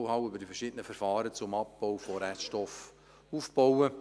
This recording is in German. Man kann Know-how zu den verschiedenen Verfahren zum Abbau von Reststoffen aufbauen.